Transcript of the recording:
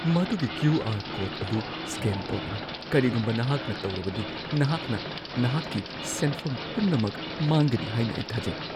ꯃꯗꯨꯒꯤ Q. R. Code ꯑꯗꯨ scan ꯇꯧꯒꯅꯨ ꯫ ꯀꯔꯤꯒꯨꯝꯕ ꯅꯍꯥꯛꯅ ꯇꯧꯔꯕꯗꯤ, ꯅꯍꯥꯛꯅ ꯅꯍꯥꯛꯀꯤ ꯁꯦꯟꯐꯝ ꯄꯨꯝꯅꯃꯛ ꯃꯥꯡꯒꯅꯤ ꯍꯥꯏꯅ ꯑꯩ ꯊꯥꯖꯩ꯫